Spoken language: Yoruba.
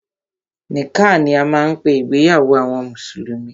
Nikkah ni a máa ń pé ìgbéyàwó àwọn mùsùlùmí.